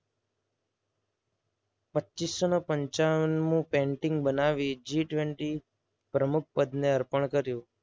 પચ્ચસોને પંચાવનમી painting બનાવી G twenty પ્રમુખ પદને અર્પણ કર્યુ.